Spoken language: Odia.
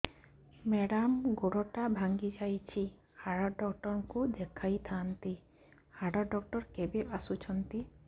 ମେଡ଼ାମ ଗୋଡ ଟା ଭାଙ୍ଗି ଯାଇଛି ହାଡ ଡକ୍ଟର ଙ୍କୁ ଦେଖାଇ ଥାଆନ୍ତି ହାଡ ଡକ୍ଟର କେବେ ଆସୁଛନ୍ତି